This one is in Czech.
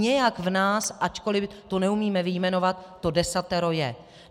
Nějak v nás, ačkoliv to neumíme vyjmenovat, to desatero je.